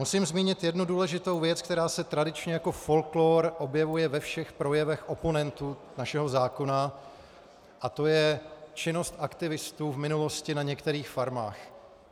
Musím zmínit jednu důležitou věc, která se tradičně jako folklor objevuje ve všech projevech oponentů našeho zákona, a to je činnost aktivistů v minulosti na některých farmách.